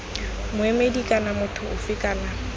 moemedi kana motho ofe kana